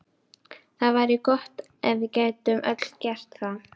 Það væri gott ef við gætum öll gert það.